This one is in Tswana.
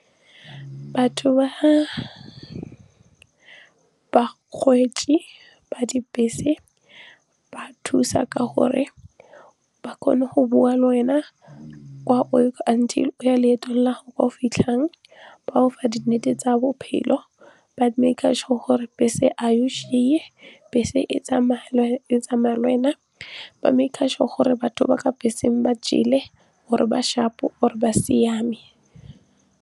Batho ba ba dibese ba thusa ka gore ba kgone go bua le wena until o ya leeto la kwa o fitlhang ba go fa di nnete tsa bophelo, ba make-a sure gore bese ge e go bese e tsamaya lwena ba make-a sure gore batho ba ka beseng ba jele or-e ba sharp-o or ba siame.